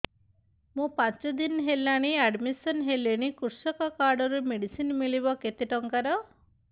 ମୁ ପାଞ୍ଚ ଦିନ ହେଲାଣି ଆଡ୍ମିଶନ ହେଲିଣି କୃଷକ କାର୍ଡ ରୁ ମେଡିସିନ ମିଳିବ କେତେ ଟଙ୍କାର